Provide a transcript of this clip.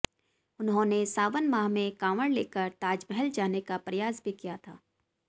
उन्होंने सावन माह में काँवड़ लेकर ताजमहल जाने का प्रयास भी किया था